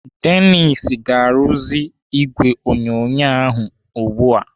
Dennis ga-arụzi ìgwè onyonyo ahụ ugbu a.